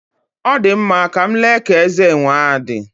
Ọ dị mma, ka m lee ka eze enwe a dị.